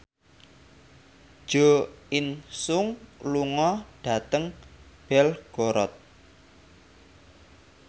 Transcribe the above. Jo In Sung lunga dhateng Belgorod